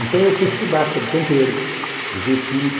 Então eu fui estudar sobre tempero, ver química.